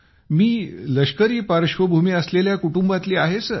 मी लष्करी पार्श्वभूमी असलेल्या कुटुंबातली आहे सर